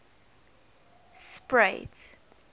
spruit